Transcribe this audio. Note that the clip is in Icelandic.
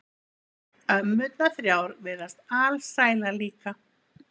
Ömmurnar þrjár virðast alsælar líka.